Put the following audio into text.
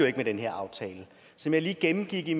ikke med den her aftale som jeg lige gennemgik i